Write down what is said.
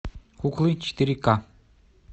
куклы четыре ка